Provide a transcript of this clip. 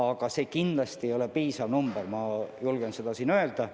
Aga see kindlasti ei ole piisav summa, seda ma julgen siin öelda.